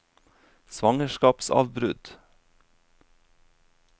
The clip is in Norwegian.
svangerskapsavbrudd